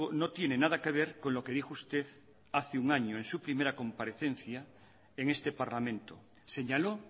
no tiene nada que ver con lo que dijo usted hace un año en su primera comparecencia en este parlamento señaló